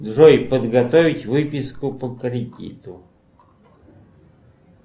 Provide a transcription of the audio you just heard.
джой подготовить выписку по кредиту